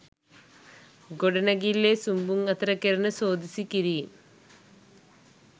ගොඩනැගිල්ලේ සුන්බුන් අතර කෙරෙන සෝදිසි කිරීම්